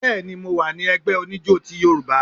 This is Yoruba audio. Béèni, mo wà ní ẹgbẹ oníjo ti yorùbá